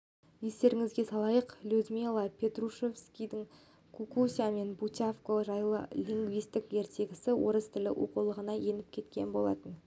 естеріңізге салайық людмила петрушевскийдің кукуся мен бутявко жайлы лингвистикалық ертегісі орыс тілі оқулығына еніп кеткен болатын